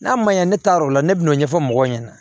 N'a ma ɲɛ ne taa yɔrɔ la ne bɛn'o ɲɛfɔ mɔgɔw ɲɛna